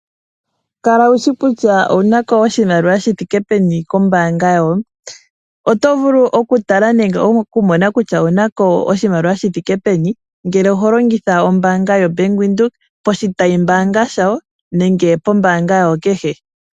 Kala wushi kutya owu na ko oshimaliwa shithike peni kombaanga yoye. Oto vulu okutala nenge okumona kutya owu na ko oshimaliwa shi thike peni, ngele oho longitha ombaanga yoBank Windhoek poshitayimbaanga shawo nenge pombaanga yawo kehe.